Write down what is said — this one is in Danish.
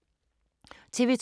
TV 2